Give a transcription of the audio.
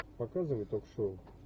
показывай ток шоу